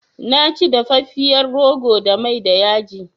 Na ci dafafiyar rogo da mai da yaji